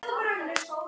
Eiga þau eitt barn.